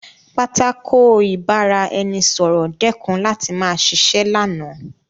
Pátákó ìbára-ẹni-sọ̀rọ̀ dẹ́kun láti ma ṣiṣẹ́ lánàá